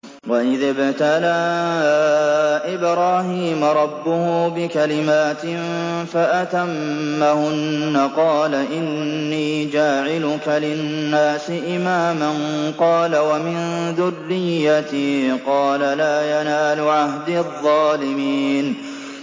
۞ وَإِذِ ابْتَلَىٰ إِبْرَاهِيمَ رَبُّهُ بِكَلِمَاتٍ فَأَتَمَّهُنَّ ۖ قَالَ إِنِّي جَاعِلُكَ لِلنَّاسِ إِمَامًا ۖ قَالَ وَمِن ذُرِّيَّتِي ۖ قَالَ لَا يَنَالُ عَهْدِي الظَّالِمِينَ